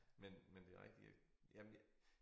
Men men det rigtigt ik jamen jeg